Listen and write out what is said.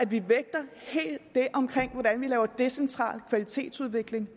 vi vægter decentral kvalitetsudvikling